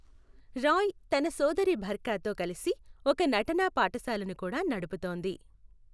రాయ్ తన సోదరి బర్ఖాతో కలిసి ఒక నటనా పాఠశాలను కూడా నడుపుతోంది.